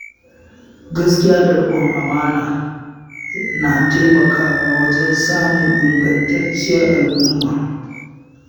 Gaskiya da riƙon amana na taimakawa wajen samun ingantacciyar al'umma.